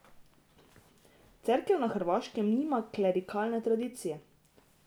Cerkev na Hrvaškem nima klerikalne tradicije.